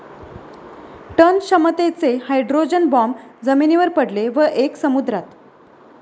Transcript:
Ton क्षमतेचे hydrogen bomb जमिनीवर पडले व एक समुद्रात.